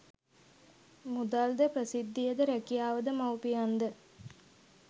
මුදල්ද ප්‍රසිද්ධියද රැකියාවද මව්පියන්ද